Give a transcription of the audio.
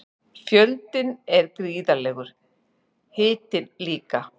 Fjöldinn er gríðarlegur, hitinn líka.